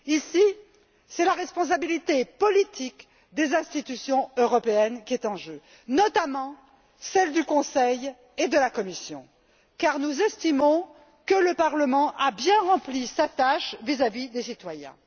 Ici, c'est la responsabilité politique des institutions européennes qui est en jeu, notamment celle du Conseil et de la Commission, car nous estimons que le Parlement a bien rempli sa tâche vis à vis des citoyens.